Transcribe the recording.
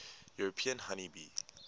european honey bee